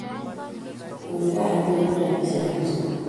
Uii kaa iweiby robishe ab sukul.